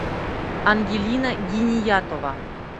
ангелина гениятова